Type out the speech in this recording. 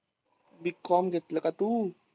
B. Com घेतलं का तू?